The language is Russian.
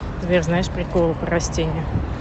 сбер знаешь приколы про растения